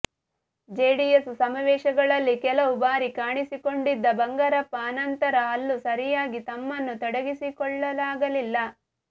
JDS ಸಮಾವೇಶಗಳಲ್ಲಿ ಕೆಲವು ಬಾರಿ ಕಾಣಿಸಿಕೊಂಡಿದ್ದ ಬಂಗಾರಪ್ಪ ಆನಂತರ ಅಲ್ಲೂ ಸರಿಯಾಗಿ ತಮ್ಮನ್ನು ತೊಡಗಿಸಿಕೊಳ್ಳಲಾಗಲಿಲ್ಲ